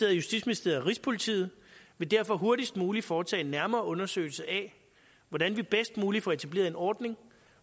og justitsministeriet og rigspolitiet vil derfor hurtigst muligt foretage en nærmere undersøgelse af hvordan vi bedst muligt får etableret en ordning